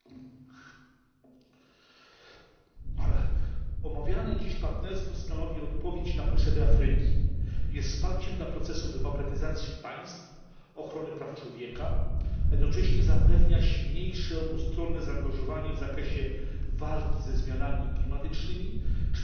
Panie przewodniczący! Omawiane dziś partnerstwo stanowi odpowiedź na potrzeby Afryki, jest wsparciem dla procesu demokratyzacji państw, ochrony praw człowieka, a jednocześnie zapewnia silniejsze obustronne zaangażowanie w zakresie walki ze zmianami klimatycznymi czy też w obrębie zapewnienia bezpieczeństwa energetycznego.